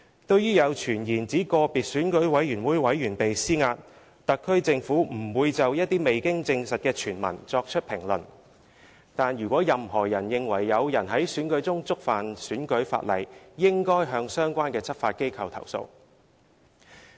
對於有傳言指個別選舉委員被施壓，特區政府不會就一些未經證實的傳聞作出評論；但如果任何人認為有人在選舉中觸犯選舉法例，應該向相關執法機構投訴。